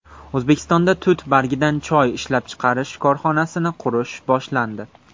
O‘zbekistonda tut bargidan choy ishlab chiqarish korxonasini qurish boshlandi.